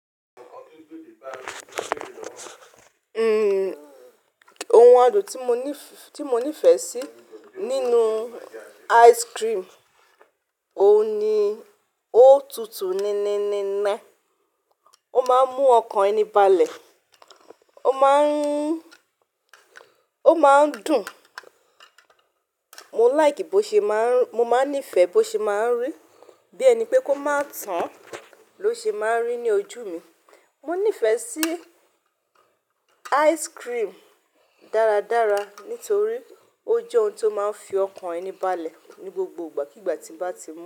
Ohun àdùn tí mo ní, tí mo nífẹ̀ẹ́ sí nínú ice cream, òun ni ó tutù níníníní, ó máa ń mú ọkàn ẹni balẹ̀, ó máa ń, ó máa ń dùn. Mo like bó ṣe máa ń, mo máa ń nífẹ̀ẹ́ bó ṣe máa ń rì bí ẹni pé kó máa tán ló ṣe máa ń rì ní ojú mi. Mo nífẹ̀ẹ́ sí ice cream dáradára nítorí ó jẹ́ ohun tó máa ń fi ọkàn ẹni balẹ̀ ní gbogbo ìgbà kí ìgbà tí ń bá ti mú.